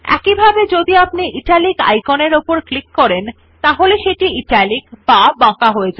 একইভাবে যদি আপনি ইটালিক আইকনের উপর ক্লিক করেন তাহলে সেটি ইটালিক বা বাঁকা হয়ে যাবে